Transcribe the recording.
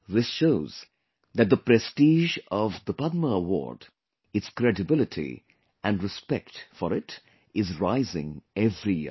This shows that the prestige of The Padma Award, its credibility and respect for it is rising every year